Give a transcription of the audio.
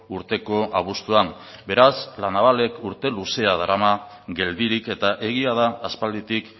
urteko abuztuan beraz la navalek urte luzea darama geldirik eta egia da aspalditik